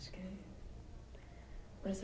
Acho que é isso.